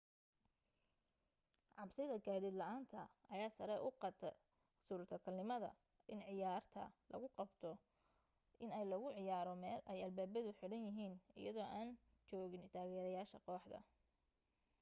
cabsida gaadiid la'aanta ayaa sare u qaadday suurtagalnimada in ciyaarta lagu qasbo inay lagu ciyaaro meel ay albaabadu xiraan yihiin iyadoo aan joogin taageerayaasha kooxda